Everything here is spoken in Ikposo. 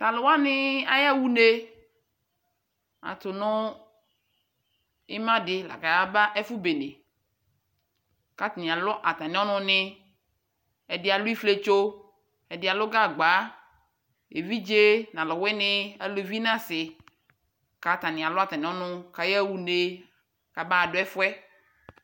Taluwanii ayawa unee atuu nuu imadi la kayaba ɛfubene kataialu atamiɔnunɛ ɛdialu ifietso, ɛdialu gagba, eviɖʒee nɔluwini aluvi nasii katanialu atamiɔnu kayaunee kamaduɛfuɛ